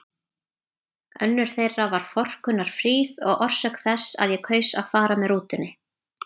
Önnur þeirra var forkunnarfríð og orsök þess að ég kaus að fara með rútunni.